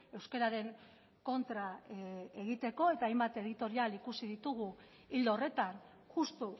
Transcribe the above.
euskararen kontra egiteko eta hainbat editorial ikusi ditugu ildo horretan justu